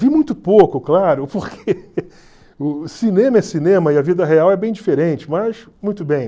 Vi muito pouco, claro, porque o cinema é cinema e a vida real é bem diferente, mas muito bem.